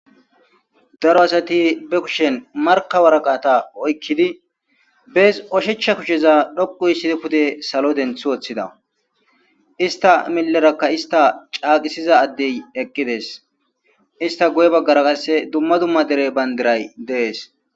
Daro Asati be kushen markka waraqqata oykkiddi ,bees ushacha kushen ,issta caqqiza adeykka qasseka eqqidi dees,istta guyera qase dumma dumma bandiray dees.